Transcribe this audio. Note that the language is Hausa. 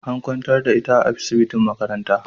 An kwantar da ita a asibitin makaranta